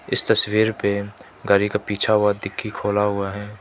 इस तस्वीर पे गाड़ी का पीछा हुआ डिक्की खोला हुआ है।